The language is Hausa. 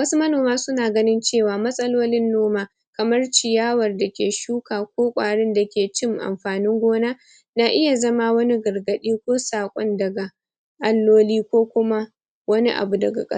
domin sannin ganin cewa ba kawai aikin noma bane harma da ilimin tarihi da tsafi dake haɗa al'umma da yanayi